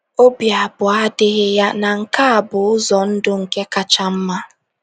Obi abụọ adịghị ya na nke a bụ ụzọ ndụ nke kacha mma!